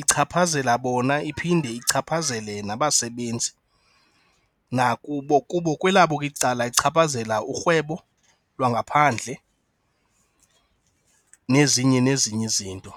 ichaphazela bona iphinde ichaphazele nabasebenzi nakubo. Kubo, kwelabo icala ichaphazela urhwebo lwangaphandle nezinye nezinye izinto.